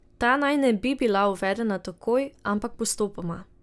Ta naj ne bi bila uvedena takoj, ampak postopoma.